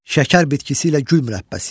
Şəkər bitkisi ilə gül mürəbbəsiyəm.